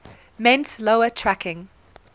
meant lower tracking